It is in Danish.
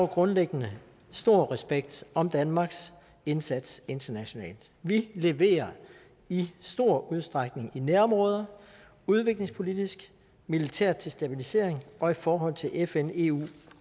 grundlæggende stor respekt om danmarks indsats internationalt vi leverer i stor udstrækning i nærområder udviklingspolitisk militært til stabilisering og i forhold til fn eu